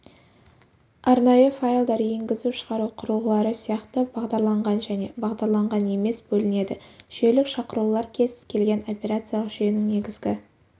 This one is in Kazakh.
арнайы файлдар енгізу-шығару құрылғылары сияқты бағдарланған және бағдарланған емес бөлінеді жүйелік шақырулар кез келген операциялық жүйенің негізгі